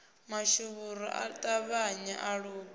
mashuvhuru a ṱavhanye a luge